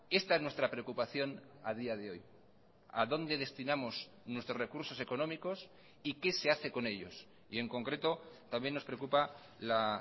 esta es nuestra preocupación a día de hoy a dónde destinamos nuestros recursos económicos y qué se hace con ellos y en concreto también nos preocupa la